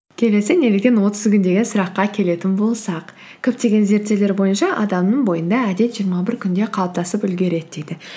келесі неліктен отыз күн деген сұраққа келетін болсақ көптеген зерттеулер бойынша адамның бойында әдет жиырма бір күнде қалыптасып үлгереді дейді